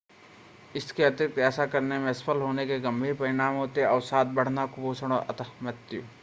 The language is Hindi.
इसके अतिरिक्ता ऐसा करने में असफल होने के गंभीर परिणाम होते हैं अवसाद बढ़ना कुपोषण और अंततः मृत्यु